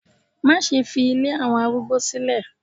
Má ṣe fi ilé àwọn arúgbó sílẹ̀